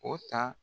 O ta